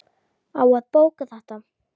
Á að bóka þetta?